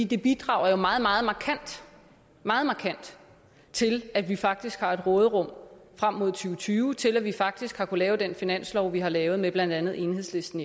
det bidrager jo meget meget markant meget markant til at vi faktisk har et råderum frem mod to tusind og tyve til at vi faktisk har kunnet lave den finanslov vi har lavet med blandt andet enhedslisten